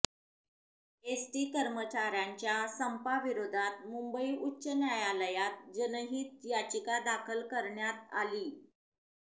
ST कर्मचाऱ्यांच्या संपाविरोधात मुंबई उच्च न्यायालयात जनहीत याचिका दाखल करण्यात आलीय